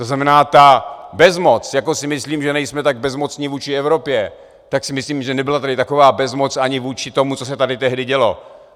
To znamená, ta bezmoc, jako si myslím, že nejsme tak bezmocní vůči Evropě, tak si myslím, že nebyla tady taková bezmoc ani vůči tomu, co se tady tehdy dělo.